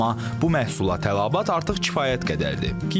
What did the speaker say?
Amma bu məhsula tələbat artıq kifayət qədərdir.